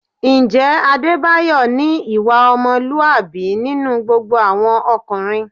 Ǹjẹ́ Adébáyọ̀ ní ìwà ọmọlúwàbí nínú gbogbo àwọn ọkùnrin?